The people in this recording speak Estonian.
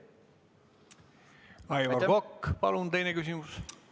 Aivar Kokk, palun, teine küsimus!